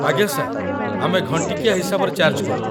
ଆଜ୍ଞା ସାର୍, ଆମେ ଘଣ୍ଟିକିଆ ହିସାବରେ ଚାର୍ଜ୍ କରୁ ।